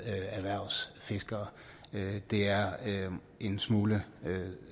erhvervsfiskere det er en smule